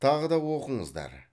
тағы да оқыңыздар